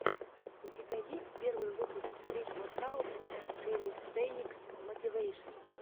у тебя есть первый выпуск стрит воркаут энд кэлистэникс мотивэйшн